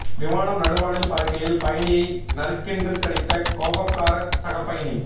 விமானம் நடுவானில் பறக்கையில் பயணியை நறுக்கென்று கடித்த கோபக்கார சக பயணி